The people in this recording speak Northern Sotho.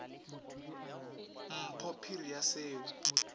mpho phiri ya se o